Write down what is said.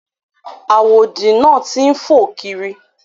Àwòdì náà ti ń fò kiri.